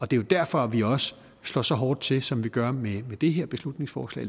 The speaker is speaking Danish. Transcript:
det er jo derfor at vi også slår så hårdt til som vi gør med det her beslutningsforslag